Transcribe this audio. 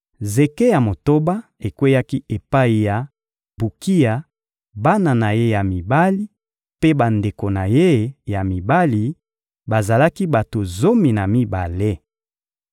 Zeke ya motoba ekweyaki epai ya Bukiya, bana na ye ya mibali mpe bandeko na ye ya mibali: bazalaki bato zomi na mibale.